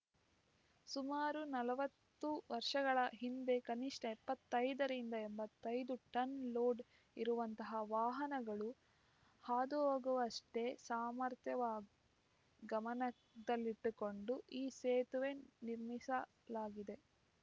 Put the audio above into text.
ಸುಮಾರು ನಾಲ್ವತ್ತು ವರ್ಷಗಳ ಹಿಂದೆ ಕನಿಷ್ಠ ಎಪ್ಪತ್ತೈದರಿಂದ ಎಂಬತ್ತೈದು ಟನ್‌ ಲೋಡ್‌ ಇರುವಂತಹ ವಾಹನಗಳು ಹಾದುಹೋಗುವಷ್ಟೇ ಸಾಮರ್ಥ್ಯವ ಗಮನದಲ್ಲಿಟ್ಟುಕೊಂಡು ಈ ಸೇತುವೆ ನಿರ್ಮಿಸಲಾಗಿದೆ